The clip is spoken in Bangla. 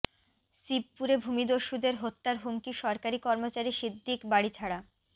শিবপুরে ভূমিদস্যুদের হত্যার হুমকি সরকারি কর্মচারী সিদ্দিক বাড়ি ছাড়া